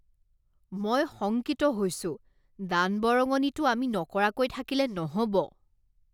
মই শংকিত হৈছোঁ! দান বৰঙনিটো আমি নকৰাকৈ থাকিলে নহ'ব।